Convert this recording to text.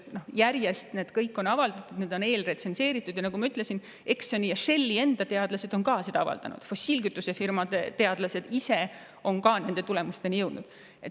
Need on kõik avaldatud ja eelretsenseeritud, ja nagu ma ütlesin, Exxoni ja Shelli enda teadlased on ka sel avaldanud, fossiilkütusefirmade teadlased on ise ka nende tulemusteni jõudnud.